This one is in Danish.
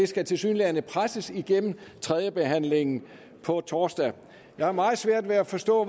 skal tilsyneladende presses igennem tredje behandling på torsdag jeg har meget svært ved at forstå